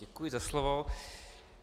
Děkuji za slovo.